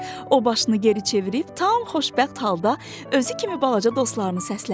O başını geri çevirib tam xoşbəxt halda özü kimi balaca dostlarını səslədi.